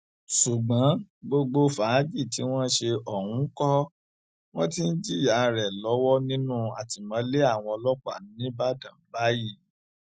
ṣùgbọn gbogbo fàájì tí wọn ṣe ọhún ńkọ wọn ti ń jìyà rẹ lọwọ nínú àtìmọlé àwọn ọlọpàá nígbàdàn báyìí